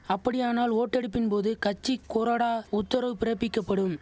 அப்படியானால் ஓட்டெடுப்பின் போது கட்சி கொறடா உத்தரவு பிறப்பிக்க படும்